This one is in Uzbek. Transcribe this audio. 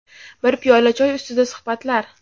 bir piyola choy ustida suhbatlar.